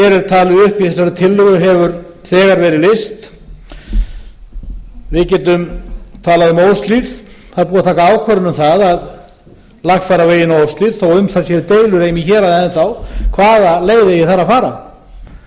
talið upp í þessari tillögu hefur þegar verið leyst við getum talað um óshlíð það er búið að taka ákvörðun um það að lagfæra veginn á óshlíð þó að um það séu deilur heima í héraði enn þá hvaða leið eigi þar að fara